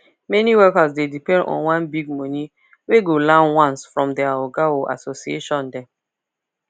many workers dey depend on one big money wey go land once from their oga or association dem